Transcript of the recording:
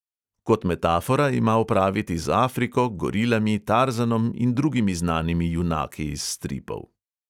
Kot metafora ima opraviti z afriko, gorilami, tarzanom in drugimi znanimi junaki iz stripov.